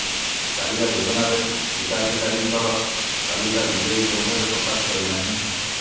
କାଳିଆ ଯୋଜନାରେ ହିତାଧିକାରୀଙ୍କର ତାଲିକା ବିଜେଡି କେଉଁଠାରେ ପ୍ରକାଶ କରିନାହିଁ